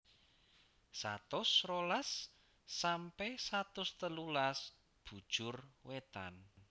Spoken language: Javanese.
Satus rolas sampe satus telulas Bujur wetan